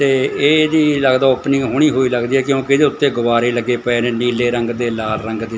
ਤੇ ਇਹ ਜੀ ਲੱਗਦਾ ਓਪਨਿੰਗ ਹੋਣੀ ਹੋਈ ਲੱਗਦੀ ਹ ਕਿਉਂਕਿ ਉੱਤੇ ਗੁਬਾਰੇ ਲੱਗੇ ਪਏ ਨੇ ਨੀਲੇ ਰੰਗ ਦੇ ਲਾਲ ਰੰਗ ਦੇ।